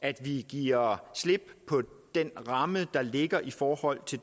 at vi giver slip på den ramme der ligger i forhold til